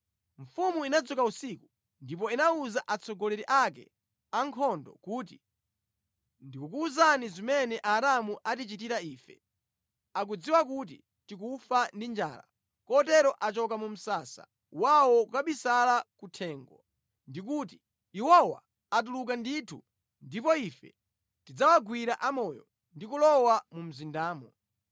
Mfumu inadzuka usiku ndipo inawuza atsogoleri ake a ankhondo kuti, “Ndikukuwuzani zimene Aaramu atichitira ife. Akudziwa kuti tikufa ndi njala; kotero achoka mu msasa wawo kukabisala kuthengo ndi kuti, ‘Iwowa atuluka ndithu, ndipo ife tidzawagwira amoyo ndi kulowa mu mzindamo.’ ”